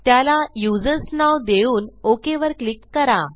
त्याला यूझर्स नाव देऊन OKवर क्लिक करा